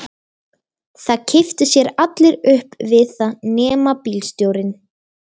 Það kipptu sér allir upp við það nema bílstjórinn.